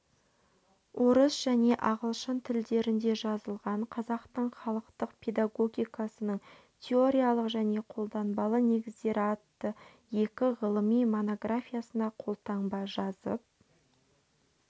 орыс және ағылшын тілдерінде жазылған қазақтың халықтық педагогикасының теориялық және қолданбалы негіздері атты екі ғылыми монографиясына қолтаңба жазып